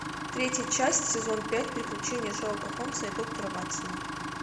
третья часть сезон пять приключения шерлока холмса и доктора ватсона